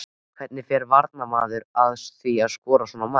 Hvernig fer varnarmaður að því að skora svona mark?